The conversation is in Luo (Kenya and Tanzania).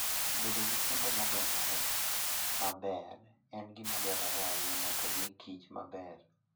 Bedo gi kuonde ma ogeng'ore maber en gima dwarore ahinya mondo omi Kich maber.